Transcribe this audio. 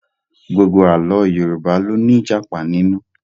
Gbogbo Àlọ́ Yorùbá ló ní Ìjàpá nínú